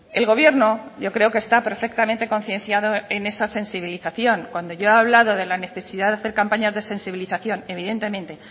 el gobierno yo creo que está perfectamente concienciado en esa sensibilización cuando yo he hablado de la necesidad de hacer campañas de sensibilización evidentemente